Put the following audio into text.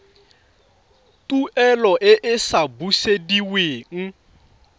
tuelo e e sa busediweng